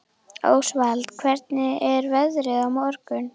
Ósvald, hvernig er veðrið á morgun?